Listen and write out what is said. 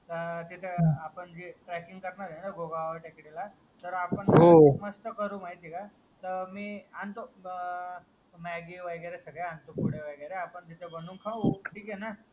या तिथे आपण जे ट्रेकिंग करणार ए गोगोव टेकडीला आपण मस्त करू माहिती ए का मी आणतो मॅग्गी वगैरे सागळे वगैरे पुढे वगैरे आपण तिथे बनवून खाऊ ठिकेना